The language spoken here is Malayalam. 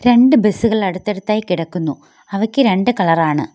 രണ്ടു ബസ്സ് കൾ അടുത്തടുത്തായി കിടക്കുന്നു അവയ്ക്ക് രണ്ട് കളർ ആണ്.